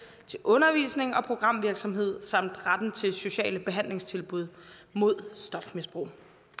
undervisning og programvirksomhed samt retten til sociale behandlingstilbud mod stofmisbrug